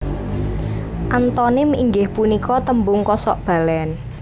Antonim inggih punika tembung kosok balen